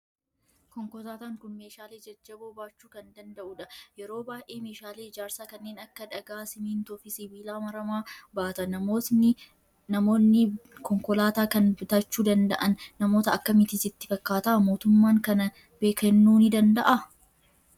Konkolaataan kun meeshaalee jajjaboo baachuu kan danda'udha. Yeroo baay'ee meeshaalee ijaarsaa kanneen akka dhagaa, simmintoo fi sibiila maramaa baata. Namoonni konkolaataa kan bitachuu danda'an namoota akkamiiti sitti fakkaata? Mootummaan kana kennuu nu danda'aa?